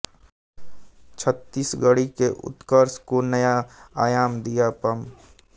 छत्तीसगढ़ी के उत्कर्ष को नया आयाम दिया पं